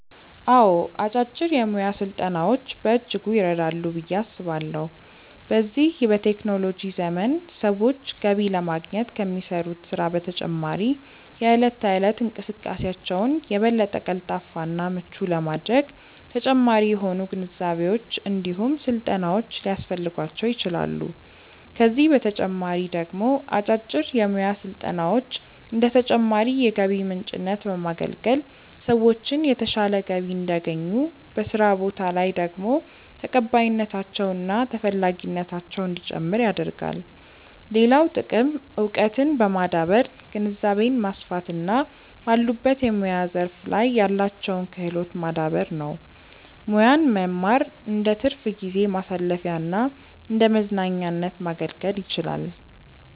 አዎ አጫጭር የሙያ ስልጠናዎች በእጅጉ ይረዳሉ ብዬ አስባለሁ። በዚህ በቴክኖሎጂ ዘመን ሰዎች ገቢ ለማግኘት ከሚሰሩት ስራ በተጨማሪ የእለት ተእለት እንቅስቃሴያቸውን የበለጠ ቀልጣፋ እና ምቹ ለማድረግ ተጨማሪ የሆኑ ግንዛቤዎች እንዲሁም ስልጠናዎች ሊያስፈልጓቸው ይችላል፤ ከዚህ በተጨማሪ ደግሞ አጫጭር የሙያ ስልጠናዎች እንደ ተጨማሪ የገቢ ምንጭነት በማገልገል ሰዎችን የተሻለ ገቢ እንዲያገኙ፤ በስራ ቦታ ላይ ደግሞ ተቀባይነታቸው እና ተፈላጊነታቸው እንዲጨምር ያደርጋል። ሌላው ጥቅም እውቀትን በማዳበር ግንዛቤን ማስፋት እና ባሉበት የሙያ ዘርፍ ላይ ያላቸውን ክህሎት ማዳበር ነው። ሙያን መማር እንደትርፍ ጊዜ ማሳለፊያና እንደመዝናኛነት ማገልገል ይችላል።